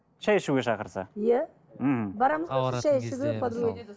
шай ішуге шақырса иә мхм